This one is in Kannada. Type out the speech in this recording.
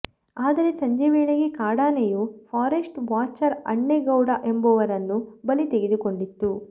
ಆದರೆ ಸಂಜೆ ವೇಳೆಗೆ ಕಾಡಾ ನೆಯು ಫಾರೆಸ್ಟ್ ವಾಚರ್ ಅಣ್ಣೇಗೌಡ ಎಂಬವರನ್ನು ಬಲಿ ತೆಗೆದು ಕೊಂಡಿತ್ತು